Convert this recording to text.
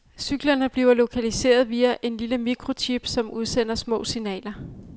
Cyklerne bliver lokaliseret via en lille microchip, som udsender små signaler.